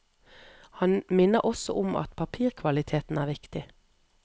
Han minner også om at papirkvaliteten er viktig.